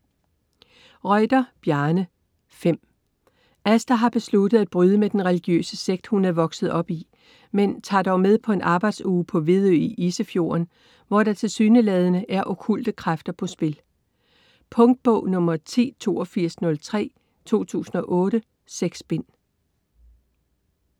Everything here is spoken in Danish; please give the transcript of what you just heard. Reuter, Bjarne: Fem Asta har besluttet at bryde med den religiøse sekt, hun er opvokset i, men tager dog med på en arbejdsuge på Vedø i Isefjorden, hvor der tilsyneladende er okkulte kræfter på spil. Punktbog 108203 2008. 6 bind.